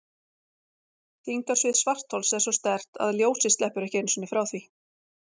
Þyngdarsvið svarthols er svo sterkt að ljósið sleppur ekki einu sinni frá því.